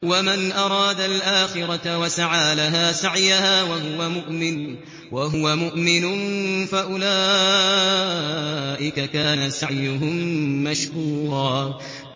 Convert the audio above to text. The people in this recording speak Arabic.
وَمَنْ أَرَادَ الْآخِرَةَ وَسَعَىٰ لَهَا سَعْيَهَا وَهُوَ مُؤْمِنٌ فَأُولَٰئِكَ كَانَ سَعْيُهُم مَّشْكُورًا